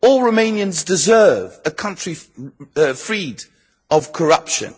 All Romanians deserve a country freed of corruption.